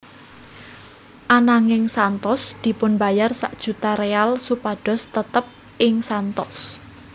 Ananging Santos dipunbayar sak juta real supados tetep ing Santos